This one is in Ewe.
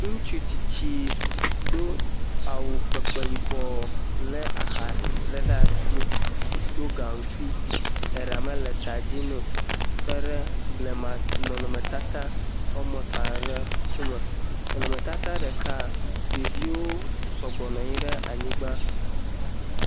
Ŋutsu tsitsi do awu kpekpe yibɔ lé aha ɖe asi, ɖo gaŋkui, eɖa mele ta dzi nɛ o, tɔ ɖe blema nɔnɔmetata woame etɔ̃ aɖe ŋkume, nɔnɔmetata ɖeka, ɖeviwo sɔgbɔ nɔ anyi ɖe anyigba.